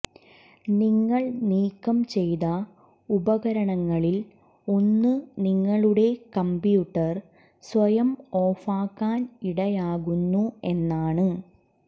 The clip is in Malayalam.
നിങ്ങൾ നീക്കം ചെയ്ത ഉപകരണങ്ങളിൽ ഒന്ന് നിങ്ങളുടെ കമ്പ്യൂട്ടർ സ്വയം ഓഫാക്കാൻ ഇടയാക്കുന്നു എന്നാണ്